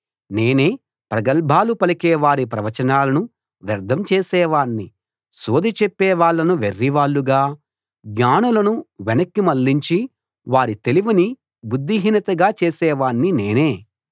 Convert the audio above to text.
నేనే ప్రగల్భాలు పలికేవారి ప్రవచనాలను వ్యర్ధం చేసేవాణ్ణి సోదె చెప్పేవాళ్ళను వెర్రివాళ్ళుగా జ్ఞానులను వెనక్కి మళ్ళించి వారి తెలివిని బుద్ధిహీనతగా చేసేవాణ్ణి నేనే